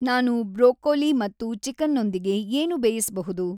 ನಾನು ಬ್ರೊಕೊಲಿ ಮತ್ತು ಚಿಕನ್‌ನೊಂದಿಗೆ ಏನು ಬೇಯಿಸಬಹುದು?